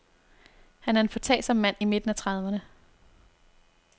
Han er en foretagsom mand i midten af trediverne.